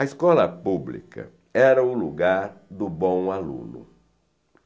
A escola pública era o lugar do bom aluno.